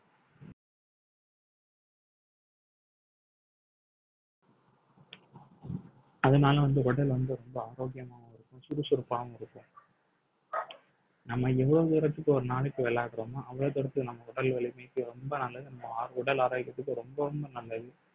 அதனால வந்து உடல் வந்து ரொம்ப ஆரோக்கியமாவும் இருக்கும் சுறுசுறுப்பாகவும் இருக்கும் நம்ம எவ்வளவு தூரத்துக்கு ஒரு நாளைக்கு விளையாடுறோமோ அவ்வளோ தூரத்துக்கு நம்ம உடல் வலிமைக்கு ரொம்ப நல்லது நம்ம உடல் ஆரோக்கியத்துக்கு ரொம்ப ரொம்ப நல்லது